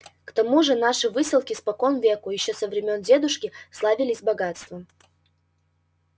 к тому же наши выселки спокон веку ещё со времён дедушки славились богатством